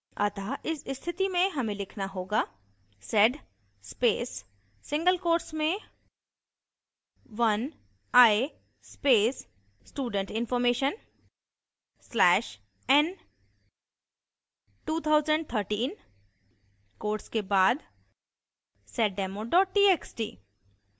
अतः इस स्थिति में हमें लिखना होगा: